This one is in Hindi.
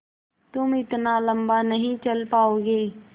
तुम इतना लम्बा नहीं चल पाओगे